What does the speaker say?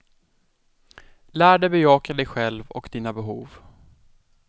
Lär dig att bejaka dig själv och dina behov.